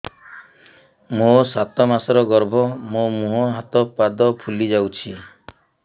ମୋ ସାତ ମାସର ଗର୍ଭ ମୋ ମୁହଁ ହାତ ପାଦ ଫୁଲି ଯାଉଛି